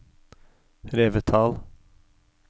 Revetal